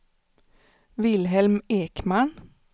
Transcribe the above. Vilhelm Ekman